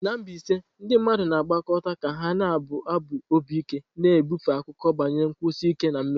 Na Mbaise, ndị mmadụ na-agbakọta ka ha na-abụ abụ obi ike, na-ebufe akụkọ banyere nkwụsi ike na mmeri.